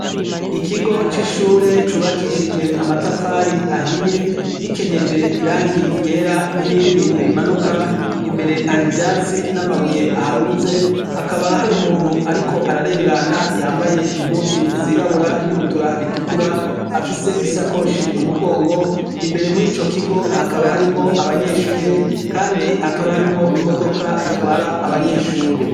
Ikigo c'ishure cubakishije amatafari ahiye gikenyeje irangi igera n'irindi rimanuka imbere hari ivyatsi n'amabuye aharunze hakaba hari umuntu, ariko ararengana yambaye impuzu zirabura n'ibutura ritukura afise isakoshi mu mugongo imbere muri co igo hakaba harimwo abanyeshure, kandi hakaba harimwo imodoka itwara abanyeshure.